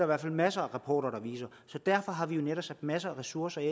hvert fald masser af rapporter der viser derfor har vi jo netop sat masser af ressourcer af